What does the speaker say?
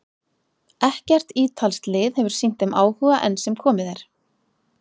Ekkert ítalskt lið hefur sýnt þeim áhuga enn sem komið er.